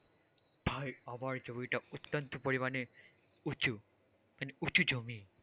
ভাই আমার জমিটা অত্যন্ত পরিমাণে উঁচু মানে উঁচু জমি।